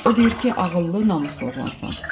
O deyir ki, ağıllı, namuslu oğlansan.